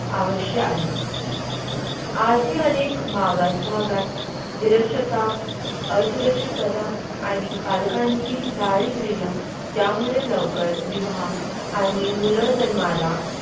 आवश्यक आहे आजही अनेक मागास भागात निरक्षरता असुरक्षितता आणि पालकांची दारिद्र्य यामुळे लवकर विवाह आणि मुलं जन्माला.